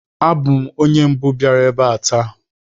Abụ m onye mbụ biara ebe a taa